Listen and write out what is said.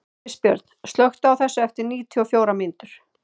Kristbjörn, slökktu á þessu eftir níutíu og fjórar mínútur.